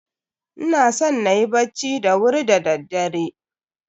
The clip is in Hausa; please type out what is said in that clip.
Ina son na yi bacci da wuri da daddare.